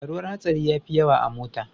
Faruwar hatsari yafi yawa a mota.